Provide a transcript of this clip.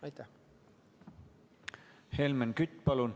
Helmen Kütt, palun!